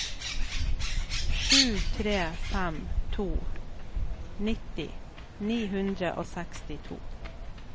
sju tre fem to nitti ni hundre og sekstito